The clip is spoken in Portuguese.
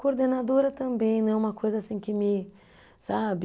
Coordenadora também, não é uma coisa assim que me, sabe